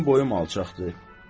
Mənim boyum alçaqdır.